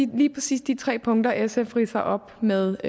lige præcis de tre punkter sf ridser op med